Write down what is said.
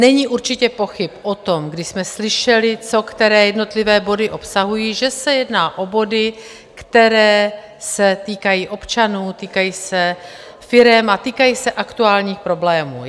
Není určitě pochyb o tom, kdy jsme slyšeli, co které jednotlivé body obsahují, že se jedná o body, které se týkají občanů, týkají se firem a týkají se aktuálních problémů.